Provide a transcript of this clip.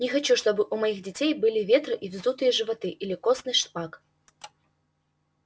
не хочу чтобы у моих детей были ветры и вздутые животы или костный шпак